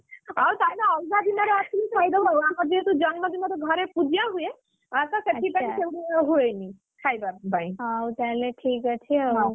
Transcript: ହଉ ତାହେଲେ ଅଲଗା ଦିନରେ ଆସିଲେ ଖାଇଦବ ଆଉ! ଆମର ଯେହେତୁ ଜନ୍ମଦିନରେ ଘରେ ପୂଜା ହୁଏ, ଅତ ସେଥିପାଇଁ ହୁଏଇନି, ଖାଇବା ପାଇଁ ।